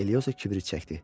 Eliyosa kibrit çəkdi.